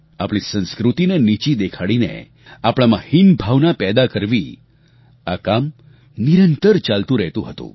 આપણી સંસ્કૃતિને નીચી દેખાડીને આપણામાં હીન ભાવના પેદા કરવી આ કામ નિરંતર ચાલતું રહેતું હતું